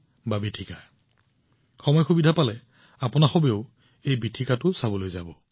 যদি আপুনি সুযোগ পায় আপুনি নিশ্চিতভাৱে ইয়াক চাবলৈ যাব